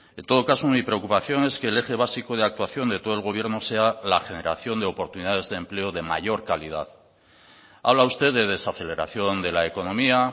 en todo caso mi preocupación es que el eje básico de actuación de todo el gobierno sea la generación de oportunidades de empleo de mayor calidad habla usted de desaceleración de la economía